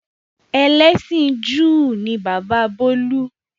Ẹlẹ́sìn Júù ni bàbá bolu.